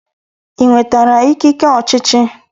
Ị nwetara ikike ọchịchị?